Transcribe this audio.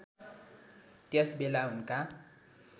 त्यस बेला उनका